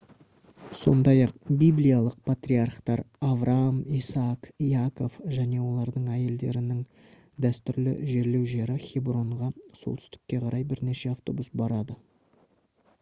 сондай-ақ библиялық патриархтар авраам исаак яков және олардың әйелдерінің дәстүрлі жерлеу жері хебронға солтүстікке қарай бірнеше автобус барады